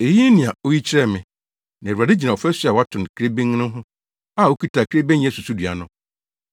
Eyi ne nea oyi kyerɛɛ me: Na Awurade gyina ɔfasu a wɔato no kirebenn no ho, a okita kirebennyɛ susudua no.